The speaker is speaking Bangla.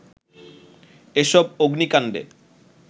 এসব অগ্নিকান্ডে